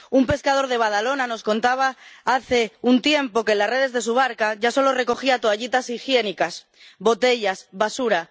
Un pescador de Badalona nos contaba hace un tiempo que en las redes de su barca ya solo recogía toallitas higiénicas, botellas, basura.